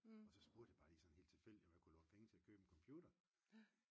Og så spurgte jeg bare lige sådan helt tilfældigt om jeg kunne låne penge til at købe en computer